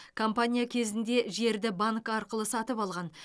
компания кезінде жерді банк арқылы сатып алған